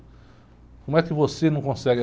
Como é que você não consegue?